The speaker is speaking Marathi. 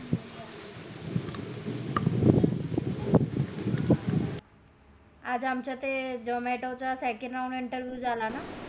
आज आमच्या ते zomato चा second वा interview झाला ना